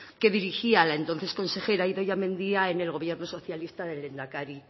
que dirigía entonces consejera idoia mendia en el gobierno socialista del lehendakari